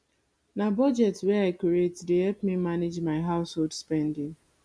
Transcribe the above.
na budget wey i create dey help me manage my household spending